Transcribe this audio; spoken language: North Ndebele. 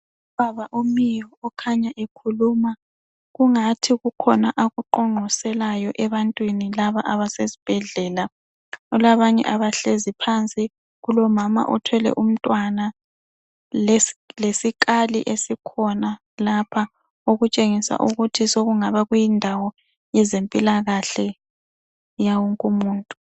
Ubaba omiyo okhanya ekhuluma kungathi kukhona akuqoqoselayo ebantwini laba abasesibhedlela. Kulabanye abahlezi phanzi, kulomama othwele umntwana lesikali esikhona lapha, okutshengisa ukuthi sekungaba kuyindawo yezempilakahle yawonke umuntu.